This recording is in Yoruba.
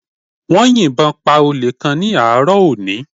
Wọ́n yìnbọn pa Olè kan ní àárọ̀ òní